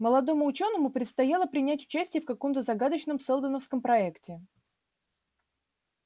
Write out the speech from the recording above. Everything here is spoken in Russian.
молодому учёному предстояло принять участие в каком-то загадочном сэлдоновском проекте